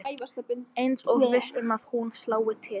Eins og viss um að hún slái til.